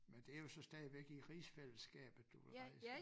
Men det jo så stadigvæk i rigsfælleskabet du vil rejse